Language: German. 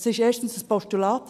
– Es ist erstens ein Postulat.